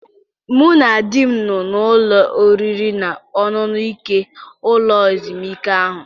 Mụ na di m nọ n'ụlọ oriri na ọṅụṅụ nke ụlọ ezumike ahụ.